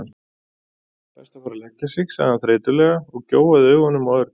Best að fara að leggja sig sagði hann þreytulega og gjóaði augunum á Örn.